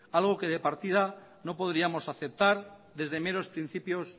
algo que de partida no podríamos aceptar desde meros principios